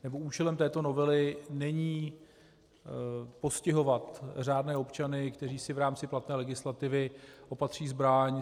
Účelem této novely není postihovat řádné občany, kteří si v rámci platné legislativy opatří zbraň.